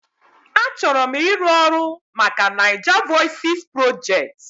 Achọrọ m ịrụ ọrụ maka NaijaVoices Project